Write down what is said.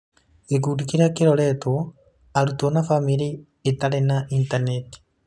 Gĩkundi kĩrĩa kĩroretwo: Arutwo na famĩlĩ itarĩ na intaneti.